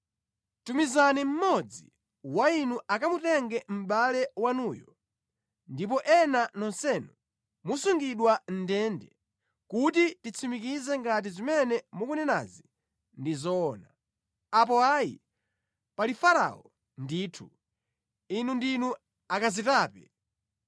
Tumizani mmodzi wa inu akamutenge mʼbale wanuyo ndipo ena nonsenu musungidwa mʼndende, kuti titsimikize ngati zimene mukunenazi ndi zoona. Apo ayi, pali Farao ndithu, inu ndinu akazitape!”